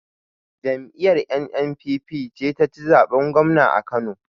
Jam'iyar NNPP ce ta ci zaɓen gwamna a Kano.